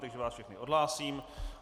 Takže vás všechny odhlásím.